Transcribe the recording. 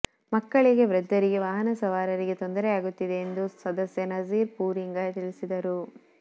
ಮಕ್ಕಳಿಗೆ ವೃದ್ದರಿಗೆ ವಾಹನ ಸವಾರರಿಗೆ ತೊಂದರೆಯಾಗುತ್ತಿದೆ ಎಂದು ಸದಸ್ಯ ನಝೀರ್ ಪೂರಿಂಗ ತಿಳಿಸಿದರು